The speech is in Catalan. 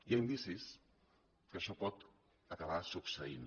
hi ha indicis que això pot acabar succeint